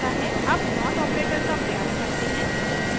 अब not operator का प्रयास करते हैं